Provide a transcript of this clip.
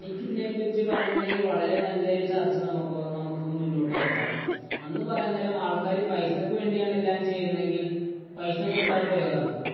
എനിക്ക് ഇതിനെപ്പറ്റി പറയുകയാണെങ്കിൽ വളരെ നല്ലൊരു ചർച്ച നമുക്ക്, നമുക്ക് മുന്നോട്ടുവയ്ക്കാം. അന്ന് പറയാന്‍ നേരം ആള്‍ക്കാര് പൈസയ്ക്ക് വേണ്ടിയാണ് എല്ലാം ചെയ്യുന്നതെങ്കിൽ പൈസ കൊടുത്താ പോരേ അവർക്ക്.